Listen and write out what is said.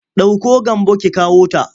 Ɗauko Gambo ki kawota!